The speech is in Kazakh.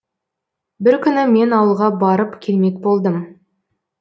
бір күні мен ауылға барып келмек болдым